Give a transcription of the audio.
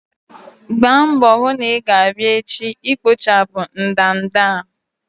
Gbaa mbọ hụ na i-ga abia echi ikpochapụ ndanda a!